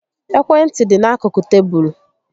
Ekwe ntị dị n'akụkụ tébulu